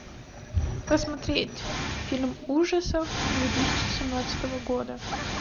посмотреть фильм ужасов две тысячи семнадцатого года